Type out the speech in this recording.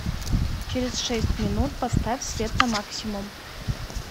через шесть минут поставь свет на максимум